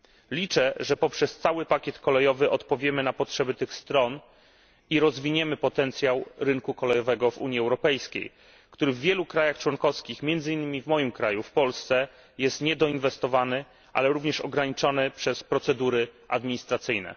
Liczę, że poprzez cały pakiet kolejowy odpowiemy na potrzeby tych stron i rozwiniemy potencjał rynku kolejowego w Unii Europejskiej, który w wielu państwach członkowskich, między innymi w moim kraju, w Polsce, jest niedoinwestowany, ale również ograniczony przez procedury administracyjne.